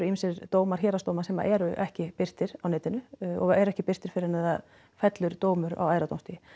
ýmsir dómar héraðsdóma sem eru ekki birtir á netinu og eru ekki birtir fyrr en það fellur dómur á æðra dómstigi